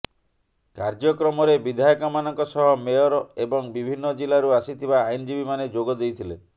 କାର୍ଯ୍ୟକ୍ରମରେ ବିଧାୟକମାନଙ୍କ ସହ ମେୟର ଏବଂ ବିଭିନ୍ନ ଜିଲ୍ଲାରୁ ଆସିଥିବା ଆଇନଜୀବୀମାନେ ଯୋଗ ଦେଇଥିଲେ